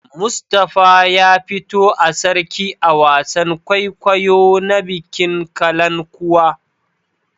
Mustapha ya fito a Sarki a wasan kwaikwayo na bikin Kalankuwa.